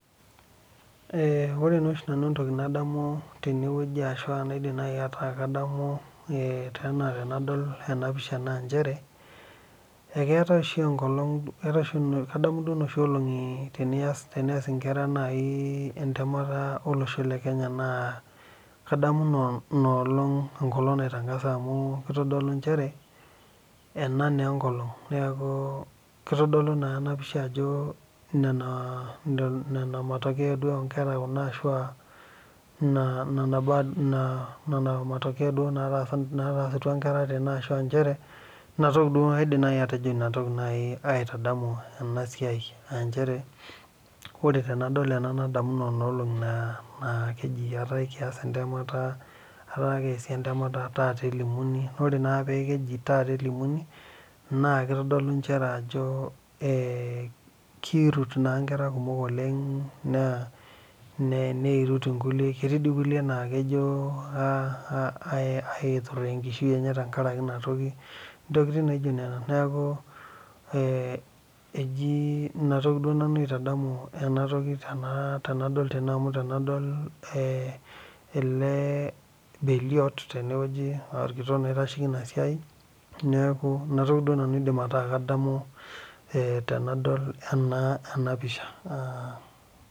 Ore naa oshi entoki nadamu nanu tenewueji ashu naaku kadamu ena tenadol ena pisha naa njere eketae oshi enkolog kadamu duo oshi Kuna olongi tenias enkera entemata olosho lee Kenya naa kadamu ena olong enkolog naitangasai amu kitodolu njere ena naa enkolog kitolu naa ena pisha Ajo Nena matokeo oo nkera Kuna ashua Nena matokeo natasaka duo Nkera ashua njere enatoki duo aidim atejo ena toki aitadamu ena siai aa njere ore tenadol ena nadamu Nena olongi naaji etaa ekias entemata etaa kiasi entemata taata elimuni naa ore naa peji taata elimuni naa kitodolu njere Ajo kirut naa Nkera kumok oleng naa nirut enkulie ketii doi enkilie naa kejo aituraa enkishui enye tenkaraki ena toki ntokitin naijio Nena neeku eji ena toki nanu aitadamu ena toki tenadol gene amu tenadol ele beliot orkitok naa oitasheki ena siai neeku enatoki duo nanu aidim ataa kadamu tenadol ena pisha